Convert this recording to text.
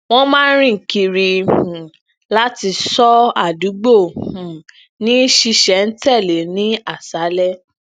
wón máa ń rin kiri um lati ṣo adugbo um ni ṣisẹntẹle ni aṣalẹ